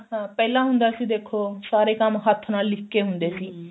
ਹਾਂ ਪਹਿਲਾ ਹੁੰਦਾ ਸੀ ਦੇਖੋ ਸਾਰੇ ਕੰਮ ਹੱਥ ਨਾਲ ਲਿਖ ਕੇ ਹੁੰਦੇ ਸੀ